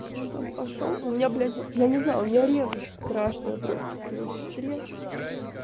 он там пошёл у меня блять я не знаю у меня ревность страшная просто к его сестре